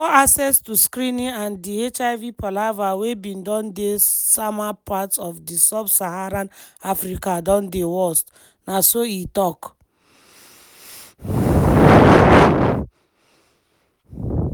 "poor access to screening and di hiv palava wey bin don dey sama parts of di sub-saharan africa don dey worst" na so e tok.